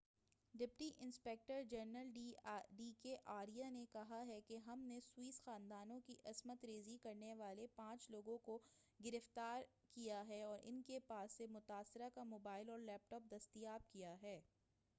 deputy inspector general D K Arya نے کہا ہے کہ ہم نے سوئس خاتون کی عصمت ریزی کرنے والے پانچ لوگوں کو گرفتار ہے اور ان کے پاس سے متاثرہ کا موبائل اور لیپ ٹاپ دستیاب کیا ہے